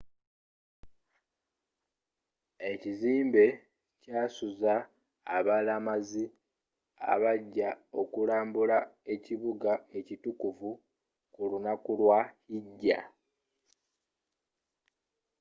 ekizimbe kyasuza abalamazi abajja okulaba ekibuga ekitukuvuku lunaku lwa hijja